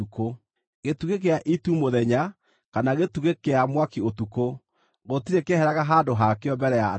Gĩtugĩ gĩa itu mũthenya kana gĩtugĩ kĩa mwaki ũtukũ, gũtirĩ kĩeheraga handũ hakĩo mbere ya andũ acio.